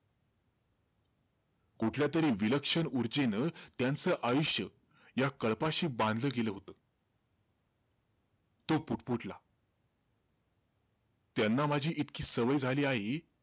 कुठल्यातरी विलक्षण ऊर्जेनं त्यांचं आयुष्य या कळपाशी बांधलं गेलं होतं. तो पुटपुटला, त्यांना माझी इतकी सवय झाली आहे.